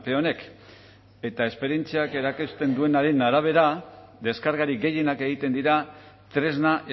honek eta esperientziak erakusten duenaren arabera deskargarik gehienak egiten dira tresna